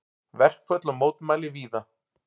Verkföll og mótmæli víða